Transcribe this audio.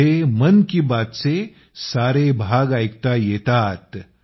इथं मन की बात चे सारे भाग ऐकले जाऊ शकतात